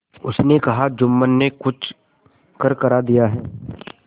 उसने कहाजुम्मन ने कुछ करकरा दिया है